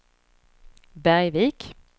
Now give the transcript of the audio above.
Bergvik